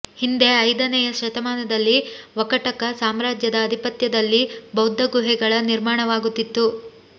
ಹಿಂದೆ ಐದನೇಯ ಶತಮಾನದಲ್ಲಿ ವಕಟಕ ಸಾಮ್ರಾಜ್ಯದ ಅಧಿಪತ್ಯದಲ್ಲಿ ಬೌದ್ಧ ಗುಹೆಗಳ ನಿರ್ಮಾಣವಾಗುತ್ತಿತ್ತು